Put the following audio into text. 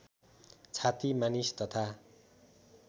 छाती मानिस तथा